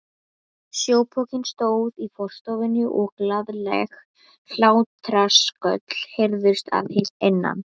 Sjópokinn stóð í forstofunni og glaðleg hlátrasköll heyrðust að innan.